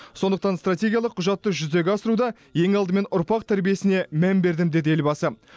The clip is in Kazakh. сондықтан стратегиялық құжатты жүзеге асыруда ең алдымен ұрпақ тәрбиесіне мән бердім деді елбасы